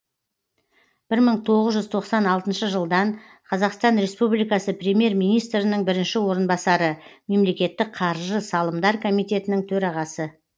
бір мың тоғыз жүз тоқсан алтыншы жылдан қазақстан республикасы премьер министрінің бірінші орынбасары мемлекеттік қаржы салымдар комитетінің төрағасы